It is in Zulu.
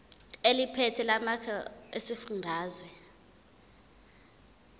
eliphethe lamarcl esifundazwe